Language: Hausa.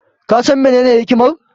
Ka san menene hikimar?